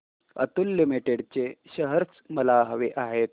Atul limited चे shares मला हवे आहेत